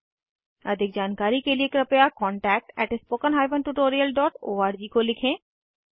अधिक जानकारी के कृपया contactspoken tutorialorg को लिखें